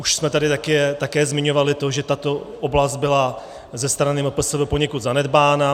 Už jsme tady také zmiňovali to, že tato oblast byla ze strany MPSV poněkud zanedbána.